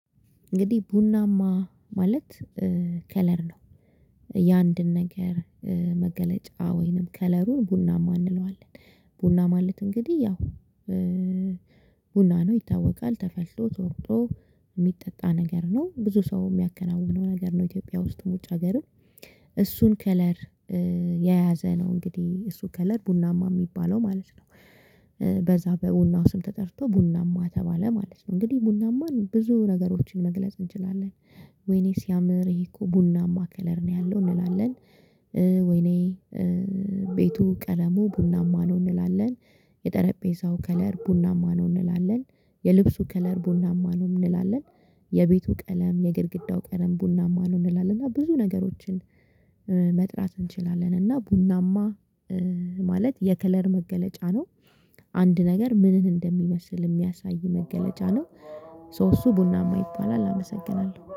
እንግዲህ ቡናማ ማለት ከለር ነው የአንድን ነገር መገለጫ ወይንም ከለሩን ቡናማ እንለዋለን ቡና ማለት እንግዲህ ያው ቡና ነው ይታወቃል ተፈልቶ ተወቅጦ የሚጠጣ ነገር ነው ብዙ ሰው የሚያከናውነው ነገር ነው ኢትዮጵያ ውስጥ ውጭ ሀገርም እሱን ከለር የያዘ ነው እንግዲህ እሱ ከለር ቡናማ የሚባለው ማለት ነው። በዛ በቡናው ስም ተጠርቶ ቡናማ ተባለ ማለት ነው እንግዲህ ቡናማን ብዙ ነገሮችን መግለጽ እንችላለን። ወይኔ ሲያምር ይሄ እኮ ቡናማ ከለር ነው ያለው እንላለን። ወይኔ ቤቱ ቀለሙ ቡናማ ነው እንላለን። የጠረጴዛው ከለር ቡናማ ነው እንላለን የልብሱ ከለር ቡናማ ነው እንላለን። የቤቱ ቀለም የግድግዳው ቀለም ቡናማ ነው እንላለን እና ብዙ ነገሮችን። መጥራት እንችላለን እና ቡናማ ማለት የከለር መገለጫ ነው። አንድ ነገር ምንን እንደሚመስል የሚያሳይ መገለጫ ነው። ሶ እሱ ቡናማ ይባላል አመሰግናለሁ